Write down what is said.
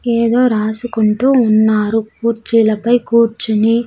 ఏదో రాసుకుంటూ ఉన్నారు కూర్చీలపై కూర్చుని.